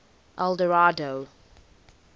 eldorado